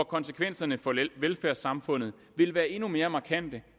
konsekvenserne for velfærdssamfundet vil være endnu mere markante